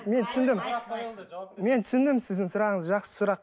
мен түсіндім мен түсіндім сіздің сұрағыңызды жақсы сұрақ